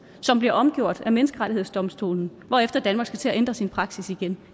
som bliver omgjort af menneskerettighedsdomstolen hvorefter danmark skal til at ændre sin praksis igen